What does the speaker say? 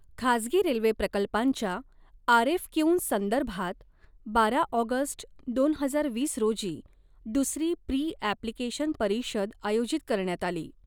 खाजगी रेल्वे प्रकल्पांच्या आरएफक्यूंसंदर्भात बारा ऑगस्ट दोन हजार वीस रोजी दुसरी प्री ऐप्लिकेशन परिषद आयोजित करण्यात आली.